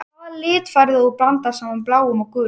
Hvaða lit færðu ef þú blandar saman bláum og gulum?